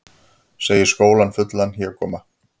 Segir skólann fullan hégóma